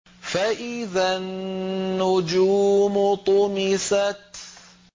فَإِذَا النُّجُومُ طُمِسَتْ